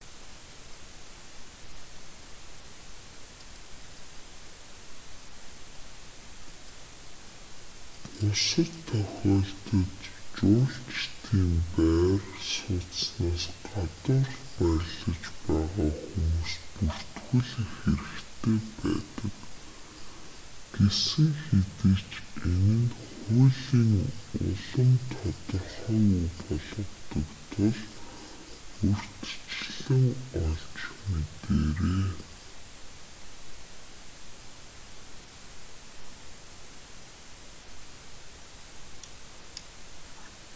бусад тохиолдолд жуулчдын байр сууцнаас гадуур байрлаж байгаа хүмүүс бүртгүүлэх хэрэгтэй байдаг гэсэн хэдий ч энэ нь хуулийн улам тодорхойгүй болгодог тул урьдчилан олж мэдээрэй